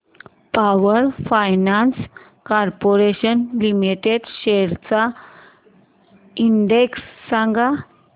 power finance corporation limited shares चा index सांगा